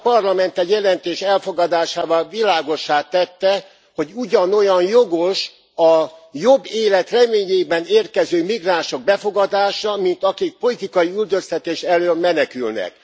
Ez a Parlament egy jelentés elfogadásával világossá tette, hogy ugyanolyan jogos a jobb élet reményében érkező migránsok befogadása, mint akik politikai üldöztetés elől menekülnek.